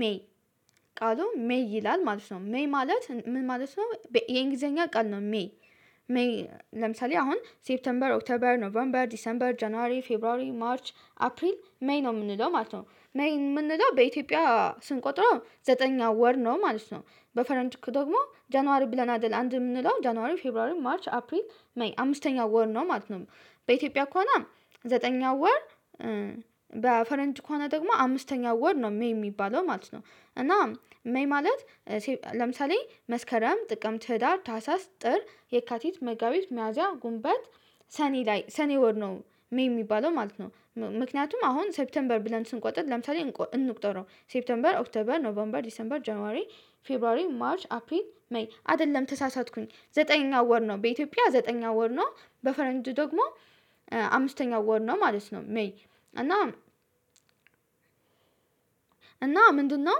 ሜይ ቃሉ ሜይ ይላል ማለት ነው ሜይ ማለት ምን ማለት ነው? የእንግሊዘኛ ቃል ነው ሜይ ሜይ። ለምሳሌ አሁን ሴፕተምበር ኦክተበር ኖቨርንበር ዲሰንበር ጀነሬ ፌብሩዋሪ ማርች አፕሪል ሜይ ነው የምንለው ማለት ነው ሜይ የምንለው በኢትዮጵያ ስንቆጥረው ዘጠኝ ወር ነው ማለት ነው። በፈረንጅ ደግሞ ጀነዋሪ ብለን አይደል አንድ የምንለው ጀነዋሪ ፌብሩዋሪ ማርች አፕሪል ሜይ አምስተኛው ወር ነው ማለት ነው። በኢትዮጵያ ከሆነ ዘጠነኛው ወር። በፈረንጅ ከሆነ ደግሞ አምስተኛው ወር ነው ሜይ የሚባለው ማለት ነው። እና ሜይ ማለት ለምሳሌ መስከረም ጥቅምት ህዳር ታህሳስ ጥር የካቲት መጋቢት ሚያዚያ ግንቦት። ሰኔ ላይ ሰኔ ወር ነው ሜይ የሚባለው ማለት ነው። ምክንያቱም አሁን ሴፕቴምበር ብለን ስንቆጥር ለምሳሌ እንቁጠረው ሴፕቴምበር ኦክተበር ኖቬምበር ዲሴምበር ጀነራሪ ፌብሩዋሪ ማርች አፕሪን ሜይ አይደለም ተሳሳትኩኝ ዘጠነኛ ወር ነው በኢትዮጵያ ዘጠነኛ ወር ነው። በፈረንጅ ደግሞ አምስተኛው ወር ነው ማለት ነው ሜይ። እና እና ምንድነው?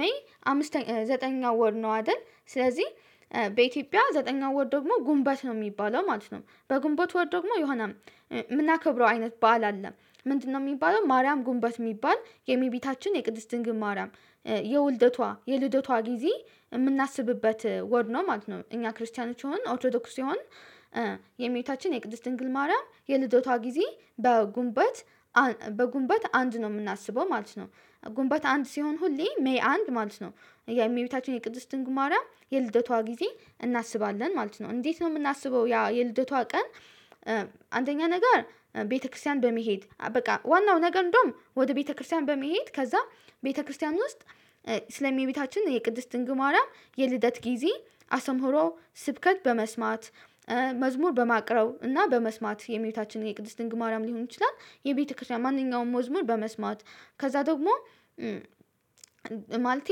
ሜይ ዘጠነኛው ወር ነው አይደል ስለዚህ በኢትዮጵያ ዘጠነኛው ወር ደግሞ ግንቦት ነው የሚባለው ማለት ነው። በግንቦት ወር ደግሞ የሆነ የምናከብረው አይነት በዓል አለ። ምንድነው? የሚባለው ማርያም ግንቦት የሚባል የመቤታችን የቅድስት ድንግል ማርያም። የውልደቷ የልደቷ ጊዜ የምናስብበት ወር ነው ማለት ነው። እኛ ክርስቲያኖች ይሁን ኦርቶዶክስ ይሁን። የመቤታችን የቅድስት ድንግል ማርያም የልደቷ ጊዜ በግንቦት በግንቦት አንድ ነው የምናስበው ማለት ነው። ግንቦት አንድ ሲሆን ሁሌ ሜይ አንድ ማለት ነው። የሜቤታችን የቅድስት ድንግል ማርያም የልደቷ ጊዜ እናስባለን ማለት ነው። እንዴት ነው የምናስበው ያ የልደቷ ቀን? አንደኛ ነገር ቤተክርስቲያን በመሄድ በቃ ዋናው ነገር እንደውም ወደ ቤተክርስቲያን በመሄድ ከዛ ቤተክርስቲያን ውስጥ ስለ እመቤታችን የቅድስት ድንግል ማርያም የልደት ጊዜ አስምሮ ስብከት በመስማት መዝሙር በማቅረብ እና በመስማት የመቤታችን የቅድስት ድንግል ማርያም ሊሆን ይችላል። የቤተክርስቲያን ማንኛውም ወዝሙር በመስማት ከዛ ደግሞ ማለት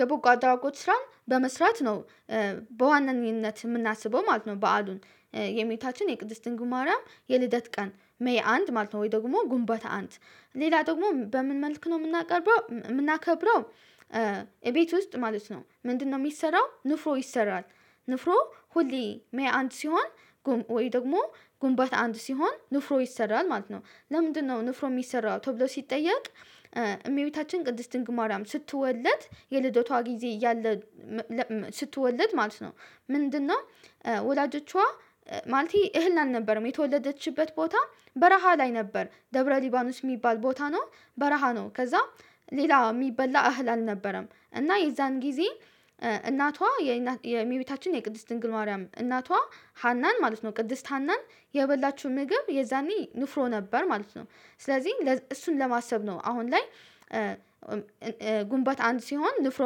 የበጎ አድራጎች ስራን በመስራት ነው። በዋናነት የምናስበው ማለት ነው። በዓሉን የመቤታችን የቅድስት ድንግል ማርያም የልደት ቀን ሜይ አንድ ማለት ነው ወይ ደግሞ ግንቦት አንድ። ሌላ ደግሞ በምን መልክ ነው የምናቀርበው የምናከብረው? እቤት ውስጥ ማለት ነው ምንድነው የሚሰራው ንፍሮ ይሰራል። ንፍሮ ሁሌ ሜይ አንድ ሲሆን ወይ ደግሞ ግንቦት አንድ ሲሆን ንፍሮ ይሰራል ማለት ነው። ለምንድነው ንፍሮ የሚሰራው ተብሎ ሲጠየቅ? እመቤታችን ቅድስት ድንግል ማርያም ስትወለድ የልደቷ ጊዜ ያለ ስትወለድ ማለት ነው። ምንድነው? ወላጆቿ ማለቴ እህል አልነበረም የተወለደችበት ቦታ በረሃ ላይ ነበር ደብረ ሊባኖስ የሚባል ቦታ ነው። በረሃ ነው ከዛ ሌላ የሚበላ እህል አልነበረም እና የዛን ጊዜ። እናቷ የእመቤታችን የቅድስት ድንግል ማርያም እናቷ ሃናን ማለት ነው ቅድስት ሃናን የበላችው ምግብ የዛኔ ንፍሮ ነበር ማለት ነው። ስለዚህ እሱን ለማሰብ ነው አሁን ላይ። ግንቦት አንድ ሲሆን ንፍሮ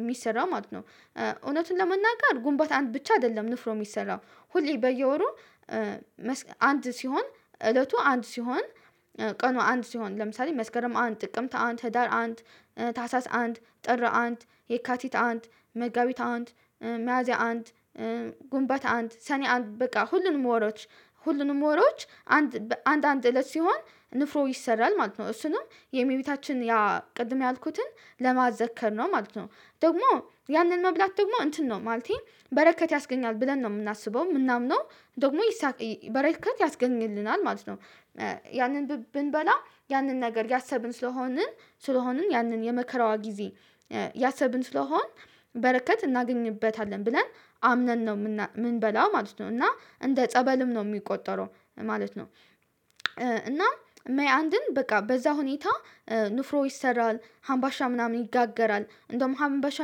የሚሰራው ማለት ነው። እውነቱን ለመናገር ግንቦት አንድ ብቻ አይደለም ንፍሮ የሚሰራው። ሁሌ በየወሩ አንድ ሲሆን እለቱ አንድ ሲሆን። ቀኑ አንድ ሲሆን ለምሳሌ መስከረም አንድ ጥቅምት አንድ ህዳር አንድ ታህሳስ አንድ ጥር አንድ የካቲት አንድ መጋቢት አንድ መያዚያ አንድ። ግንቦት አንድ ሰኔ አንድ በቃ ሁሉንም ወሮች ሁሉንም ወሮዎች አንድ አንድ እለት ሲሆን ንፍሮ ይሰራል ማለት ነው። እሱንም የመቤታችን ያ ቅድም ያልኩትን ለማዘከር ነው ማለት ነው። ደግሞ ያንን መብላት ደግሞ እንትን ነው ማለቴ በረከት ያስገኛል ብለን ነው የምናስበው የምናምነው ደግሞ በረከት ያስገኝልናል ማለት ነው። ያንን ብንበላ ያንን ነገር ያሰብን ስለሆንን ስለሆንን ያንን የመከራዋ ጊዜ ያሰብን ስለሆን በረከት እናገኝበታለን ብለን አምነን ነው የምንበላው ማለት ነው። እና እንደ ጸበልም ነው የሚቆጠረው ማለት ነው። እና ሜይ አንድን በቃ በዛ ሁኔታ። ንፍሮ ይሰራል አምባሻ ምናምን ይጋገራል እንደውም አምባሻ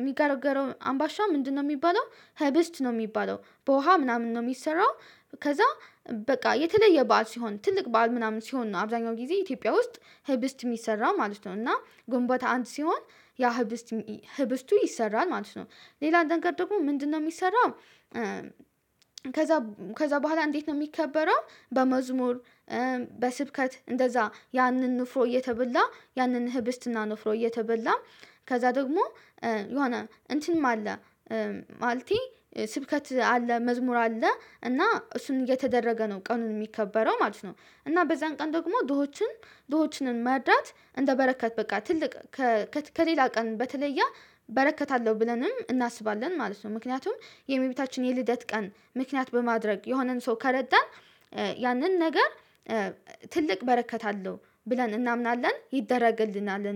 የሚጋረገረው አምባሻ ምንድነው የሚባለው? ህብስት ነው የሚባለው በውሃ ምናምን ነው የሚሰራው። ከዛ በቃ የተለየ በዓል ሲሆን ትልቅ በዓል ምናምን ሲሆን ነው አብዛኛው ጊዜ ኢትዮጵያ ውስጥ። ህብስት የሚሰራ ማለት ነው እና ግንቦት አንድ ሲሆን ያ ህብስት ህብስቱ ይሰራል ማለት ነው። ሌላ ነገር ደግሞ ምንድነው የሚሰራው? ከዛ ከዛ በኋላ እንዴት ነው የሚከበረው? በመዝሙር በስብከት እንደዛ ያንን ንፍሮ እየተበላ ያንን ህብስትና ንፍሮ እየተበላ። ከዛ ደግሞ ነሆነ እንትንም አለ። ማለቴ ስብከት አለ መዝሙር አለ እና እሱን እየተደረገ ነው ቀኑን የሚከበረው ማለት ነው። እና በዛን ቀን ደግሞ ድሆችን ድሆችንን መርዳት እንደበረከት በቃ ትልቅ። ከሌላ ቀን በተለያ በረከት አለው ብለንም እናስባለን ማለት ነው። ምክንያቱም የመቤታችን የልደት ቀን ምክንያት በማድረግ የሆነን ሰው ከረዳን። ያንን ነገር ትልቅ በረከት አለው። ብለን እናምናለን ይደረግልናል